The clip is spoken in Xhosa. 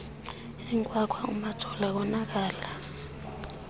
inkwakhwa umajola konakala